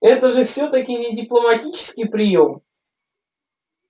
это же всё-таки не дипломатический приём